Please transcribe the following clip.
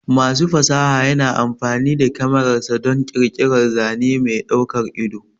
Masu fasaha yana amfani da kyamararsa don ƙirƙirar zane mai daukar ido.